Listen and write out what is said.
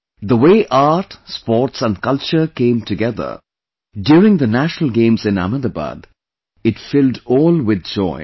The way art, sports and culture came together during the National Games in Ahmedabad, it filled all with joy